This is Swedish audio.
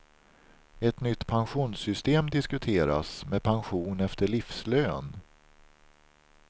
Ett nytt pensionssystem diskuteras med pension efter livslön.